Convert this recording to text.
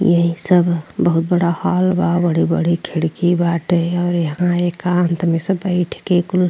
यही सब बहुत बड़ा हॉल बा। बड़ी-बड़ी खिड़की बाटे और यहाँँ एकांत में सब बैठ क कुल --